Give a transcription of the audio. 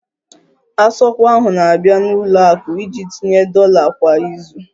Asogwa ahụ na-abịa n'ụlọ akụ iji tinye dollar kwa izu